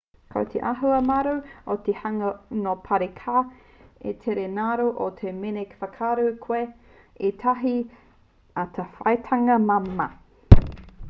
ko te āhua māro o te hunga nō parī ka tere ngaro atu mēnā ka whakaatu koe i ētahi atawhaitanga māmā